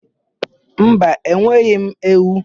Mba, enweghị m ewu.